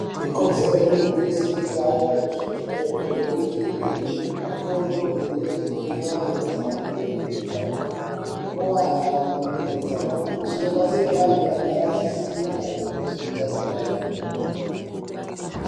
Ikodzero yemuntu weshe kuti aende kuzvibhedhleya kunoningirwe makodo murenje nenyara dzinenge dzakuwara mukati metsaona , zvinobatsira vantu vagare veziya maringe nezveutano wavo kwemene.